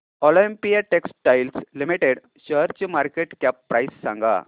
Olympia textiles limited शेअरची market cap price सांगा